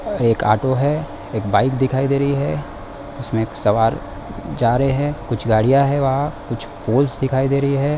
एक ऑटो है एक बाइक दिखाई दे रही है इसमें एक सवार जा रहे है कुछ गाडियां है वहाँ कुछ पोल्स दिखाई दे रही है।